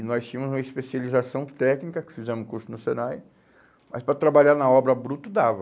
E nós tínhamos uma especialização técnica, fizemos um curso no Senai, mas para trabalhar na obra bruto dava.